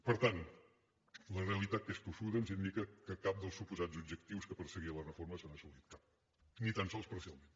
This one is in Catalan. per tant la realitat que és tossuda ens indica que cap dels suposats objectius que perseguia la reforma s’ha assolit cap ni tan sols parcialment